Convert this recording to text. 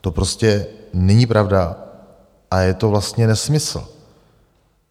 To prostě není pravda a je to vlastně nesmysl.